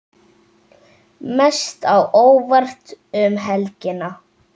Mest á óvart um helgina?